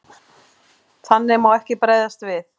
Þannig má ekki bregðast við.